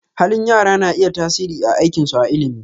Halin yara na iya tasiri a aikinsu a ilimi.